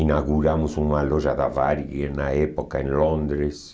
Inauguramos uma loja da Varig na época em Londres.